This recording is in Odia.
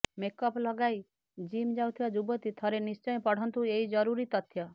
ମେକଅପ୍ ଲଗାଇ ଜିମ୍ ଯାଉଥିବା ଯୁବତୀ ଥରେ ନିଶ୍ଚୟ ପଢ଼ନ୍ତୁ ଏହି ଜରୁରୀ ତଥ୍ୟ